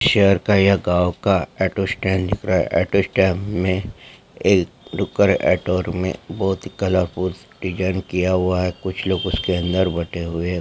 शहर का या गाँव का ऑटो स्टैन्ड है ऑटो स्टैन्ड में एक डुकर ऑटो में बहोत ही कलरफुल डिजाइन किया हुआ है कुछ लोग उसके अंदर बैठे हुए हैं|